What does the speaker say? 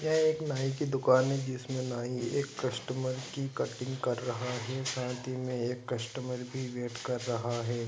यह एक नाई की दुकान है जिसमे नाई एक कस्टमर की कटिंग कर रहा है साइड मे एक कस्टमर भी वैट कर रह है ।